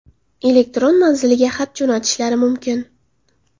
elektron manziliga xat jo‘natishlari mumkin.